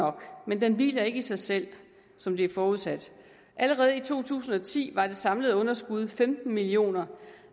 nok men den hviler ikke i sig selv som det er forudsat allerede i to tusind og ti var det samlede underskud på femten million kr